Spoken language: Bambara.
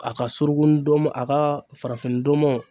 A ka surun ndomɔ a ka farafin ndɔmɔ.